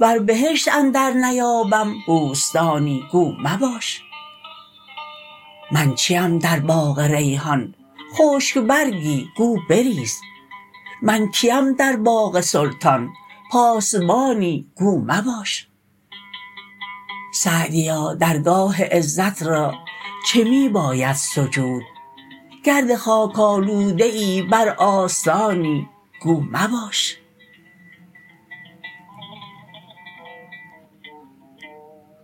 ور بهشت اندر نیابم بوستانی گو مباش من چیم در باغ ریحان خشک برگی گو بریز من کیم در باغ سلطان پاسبانی گو مباش سعدیا درگاه عزت را چه می باید سجود گرد خاک آلوده ای بر آستانی گو مباش